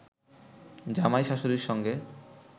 জামাই শাশুড়ীর সঙ্গে